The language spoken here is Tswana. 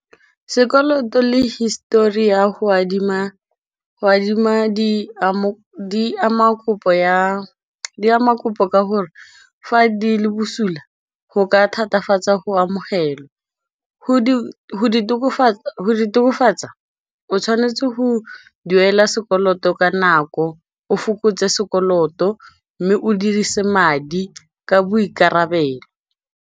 Sekoloto le hisitori ya go adima di ama kopo ka gore fa di le bosula go ka thatafatsa go amogelwa go di tokafatsa o tshwanetse go duela sekoloto ka nako o fokotse sekoloto mme o dirise madi ka boikarabelo.